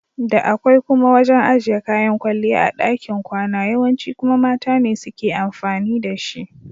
Da akwai kuma wajan ajiye kayan kwalliya a ɗakin kwana yawanci kuma mata ne suke amfani da shi.